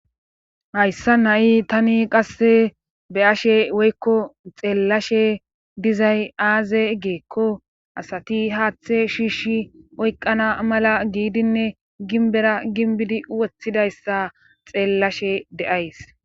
Hayssani tani qasse be7ashe woykko xeellashe dizay aaze giikko asati haaththe shiishi oyqqana mala giidinne ginbera ginbidi woththidayssa xeellashe de7ays.